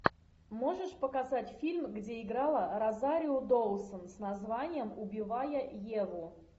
можешь показать фильм где играла розарио доусон с названием убивая еву